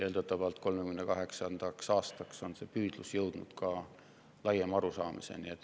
Eeldatavalt 2038. aastaks on see püüdlus jõudnud laiema arusaamiseni.